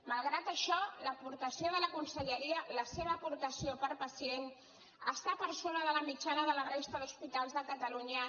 malgrat això l’aportació de la conselleria la seva aportació per pacient està per sobre de la mitjana de la resta d’hospitals de catalunya